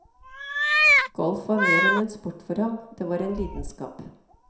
Golf var mer enn en sport for ham, det var en lidenskap.